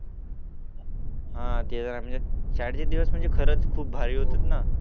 हा शाळेतले दिवस म्हणजे खूप भारी होते